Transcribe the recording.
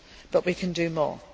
But we can do more.